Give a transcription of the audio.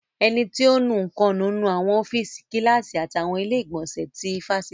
Ẹni tí ò ń nu nǹkan ń nu àwọn ọ́fíìsì, Kíláàsì àti àwọn ilé ìgbọ̀nsẹ̀ ti ifásitì